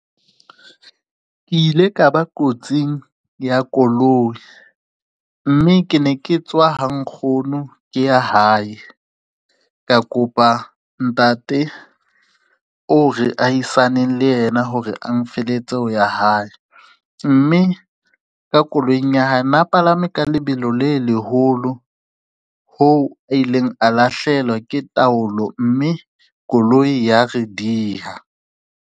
Ke ile ka ba kotsing ya koloi mme ke ne ke tswa ha nkgono ke ya hae. Ka kopa ntate o re ahisaneng le yena hore a nfelletse ho ya hae, mme ka koloing ya hae na palame ka lebelo le leholo ho a ileng a lahlehelwa ke taolo mme koloi ya re diha.